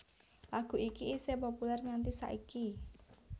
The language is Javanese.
Lagu iki isih populèr nganti saiki